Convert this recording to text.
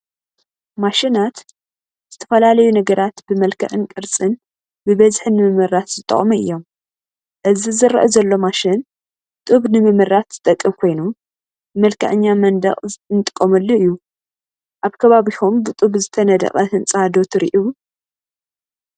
ማሽናት፡- ዝተፈላለዩ ነገራት ብመልክዕን ቅርፅን ብበዝሒ ንምምራት ዝጠቕሙ አዮም፡፡ እዚ ዝረአ ዘሎ ማሽን ጡብ ንምምራት ዝጠቅም ኮይኑ ንመልከዐኛ መንድቅ እንጥቀመሉ እዩ፡፡ ኣብ ከባቢኹም ብጡብ ዝተነደቐ ህንፃ ዶ ትሪኡ?